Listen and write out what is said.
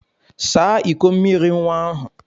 Saa ịkọ mmiri nwa ahụ!